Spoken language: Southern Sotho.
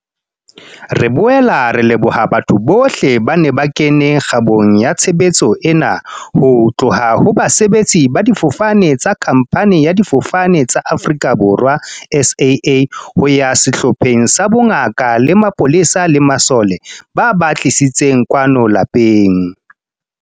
Re boela re leboha batho bohle ba neng ba kene kgabong ya tshebetso ena, ho tloha ho basebetsi ba difofane tsa khamphani ya Difofane tsa Afrika Borwa, SAA, ho ya sehlopheng sa bongaka le mapolesa le masole, ba ba tlisitseng kwano lapeng.